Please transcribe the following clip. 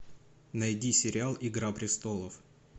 найди сериал игра престолов